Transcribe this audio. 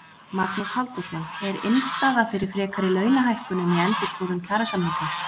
Magnús Halldórsson: Er innstaða fyrir frekari launahækkunum í endurskoðun kjarasamninga?